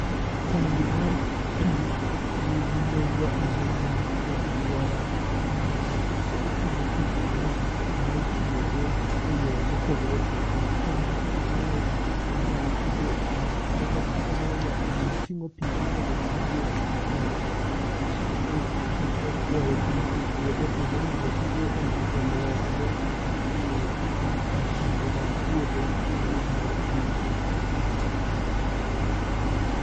Tangi mar pi nigi nengo ahinya e alwora, nimar oting'o pi mang'eny ma itiyogo e yore mopogore opogore. Tangi kaka mae be inyalo tigo, to tanagi kaka mae inya ting'o ma inyalo tigo e ki, e kwoyo pi e puodho kendo inyalo tigo e lwokogo mashinde mag puodho mi weche mag pur.